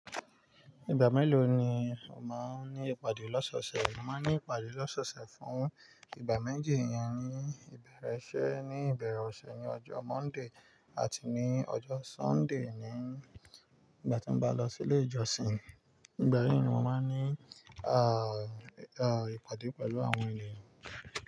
Ìgbà mélòó ni o máa ń ní ìpàdé lọ́sọ̀ọ̀sẹ̀? Mo máa ń ní ìpàdé lọ́sọ̀ọ̀sẹ̀ fún ìgbà méjì. Iyen ni ìbẹ̀rẹ̀ ise, ní ìbẹ̀rẹ̀ ọ̀sẹ̀ ní ọjọ́ Monday àti ní ọjọ́ Sunday ní ìgbà tí n bá lọ sí ilé ìjọsìn. Ìgbà yi ni mo máa ń ní à, à, ìpàdé pẹ̀lú àwọn eniyan.